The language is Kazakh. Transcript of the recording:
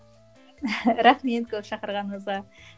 рахмет көп шақырғаныңызға